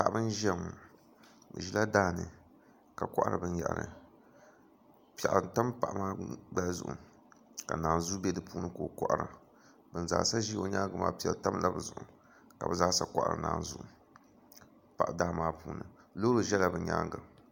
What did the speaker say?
Paɣaba n ʒiya ŋo bi ʒila daani ka kohari binyahri piɛɣu n tam paɣa maa gbaya zuɣu ka naanzuu bɛ di puuni ka o kohara bin zaa sa ʒi o nyaangi maa piɛri tabi la bi zuɣu ka bi zaasa kohari naanzuu daa maa puuni loori ʒɛla bi nyaanga